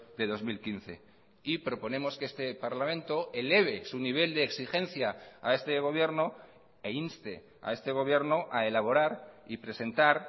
de dos mil quince y proponemos que este parlamento eleve su nivel de exigencia a este gobierno e inste a este gobierno a elaborar y presentar